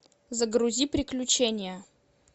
загрузи приключения